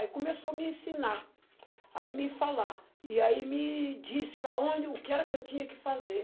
Aí começou a me ensinar, aí me falar, e aí me disse para onde, o que era que eu tinha que fazer.